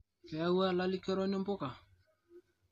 Keewua lalikoroni mpuka